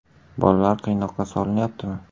Bolalar qiynoqqa solinyaptimi?